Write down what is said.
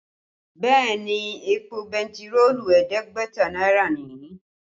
Bẹ́ẹ̀ ni, èpò bentiroolu ẹ̀ẹ́dẹ́gbẹ̀ta náírà ni